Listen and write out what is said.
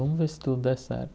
Vamos ver se tudo dá certo.